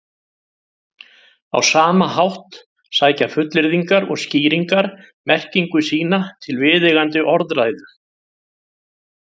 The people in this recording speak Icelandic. Á sama hátt sækja fullyrðingar og skýringar merkingu sína til viðeigandi orðræðu.